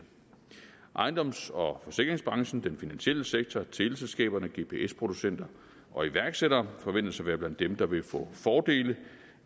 ejendoms og forsikringsbranchen den finansielle sektor teleselskaberne gps producenterne og iværksætterne forventes at være blandt dem der vil få fordele